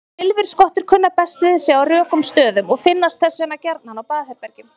Silfurskottur kunna best við sig á rökum stöðum og finnast þess vegna gjarnan á baðherbergjum.